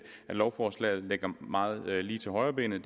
at lovforslaget ligger meget lige til højrebenet